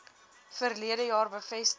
verlede jaar bevestig